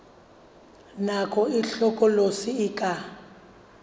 nako e hlokolosi e ka